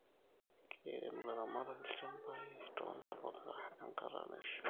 Keirem ilaramatak ilchambaii too ntapuka enkataa naishaa